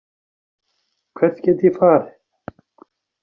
Hvert get ég farið